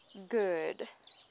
good